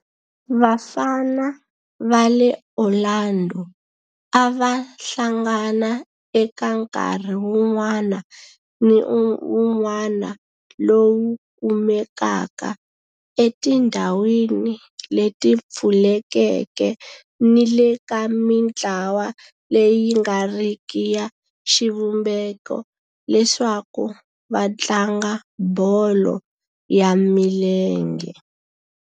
Vafana va le Orlando a va hlangana eka nkarhi wun'wana ni wun'wana lowu kumekaka etindhawini leti pfulekeke ni le ka mintlawa leyi nga riki ya xivumbeko leswaku va tlanga bolo ya milenge.